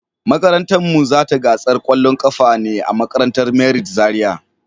Makarantan mu za ta je gasar kwallon kafa ne a makarantar merit Zaria.